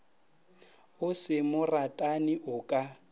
o se moratani o ka